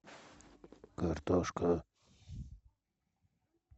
картошка